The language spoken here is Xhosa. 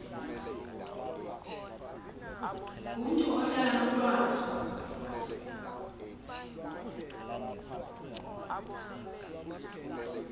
ngomntu ohlala nomntwana